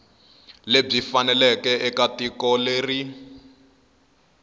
lebyi faneleke eka tiko leri